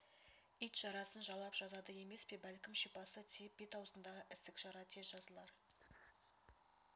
ит жарасын жалап жазады емес пе бәлкім шипасы тиіп бет-аузындағы ісік жара тез жазылар